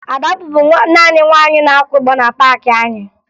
Ada bụbu naanị nwaanyị na-akwa ụgbọ na paakị anyị